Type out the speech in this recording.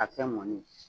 A kɛ mɔnni ye